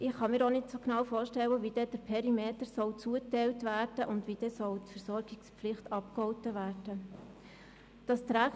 Ich kann mir auch nicht genau vorstellen, wie der Perimeter zugeteilt und die Versorgungspflicht abgegolten werden soll.